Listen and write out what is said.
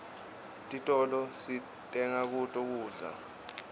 titolo sitenga kuto kudla